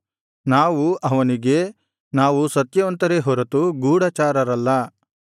ನಾವು ಅವನಿಗೆ ನಾವು ಸತ್ಯವಂತರೇ ಹೊರತು ಗೂಢಚಾರರಲ್ಲ